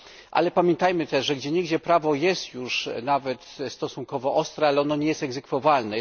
Ale pamiętajmy też, że gdzieniegdzie prawo jest już stosunkowo ostre, ale ono nie jest egzekwowalne.